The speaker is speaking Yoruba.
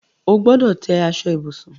O gbọdọ̀ tẹ́ aṣọ ibùsùn